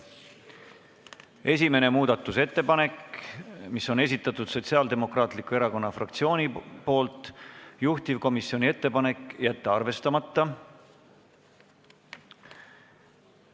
Esimene muudatusettepanek, mille on esitanud Sotsiaaldemokraatliku Erakonna fraktsioon, juhtivkomisjoni ettepanek: jätta arvestamata.